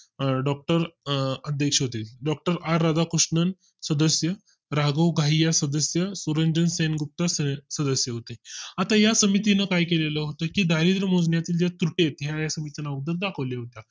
अं doctor अं अध्यक्षते doctor R Radhakrishnan सदस्य, राघव घाईया सदस्य, सुरंजन सेनगुप्ता सदस्य होते. आता या समितीने काय केले होते की दारिद्र्य मोजण्याचं ज्या त्रुटी आहेत, हे या समितीने अगोदर दाखवल होत